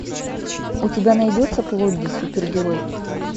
у тебя найдется плодди супергерой